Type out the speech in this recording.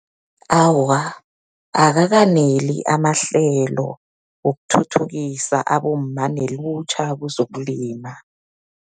Awa, akakaneli amahlelo wokuthuthukisa abomma nelutjha kezokulima.